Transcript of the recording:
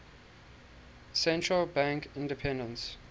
central bank independence